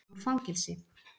inn úr fangelsi.